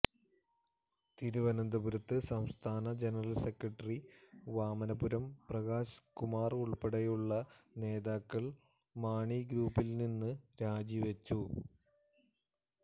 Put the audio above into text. തിരുവനന്തപുരത്ത് സംസ്ഥാന general secretary Vamanapuram Prakash Kumar ഉള്പ്പടെയുള്ള നേതാക്കള് മാണി ഗ്രൂപ്പില്നിന്ന് രാജിവെച്ചു